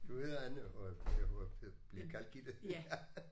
Du hedder Anne og og og bliver kaldt Gitte